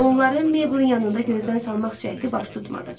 Onları Meblin yanında gözdən salmaq cəhdi baş tutmadı.